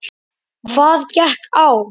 Hvað gekk á?